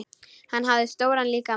Hún hafði stóran líkama.